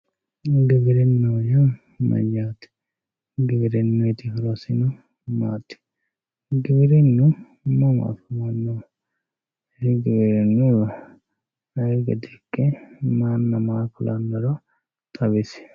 Giwirinaho yaa mayate, giwitinuyiti horosinno maati, giwirinu mama afamanno, giwirinuyiwa ayee gede ikke maana maa kulanoro xawisi